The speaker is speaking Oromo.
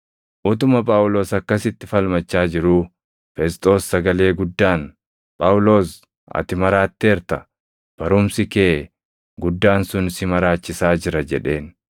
Utuma Phaawulos akkasitti falmachaa jiruu Fesxoos sagalee guddaan, “Phaawulos, ati maraatteerta! Barumsi kee guddaan sun si maraachisaa jira” jedheen.